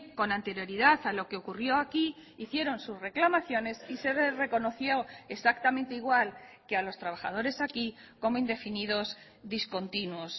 con anterioridad a lo que ocurrió aquí hicieron sus reclamaciones y se reconoció exactamente igual que a los trabajadores aquí como indefinidos discontinuos